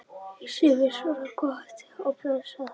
Sem er svo sem gott og blessað.